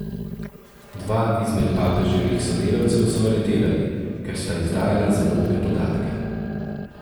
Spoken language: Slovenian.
Dva izmed papeževih sodelavcev so aretirali, ker sta izdajala zaupne podatke.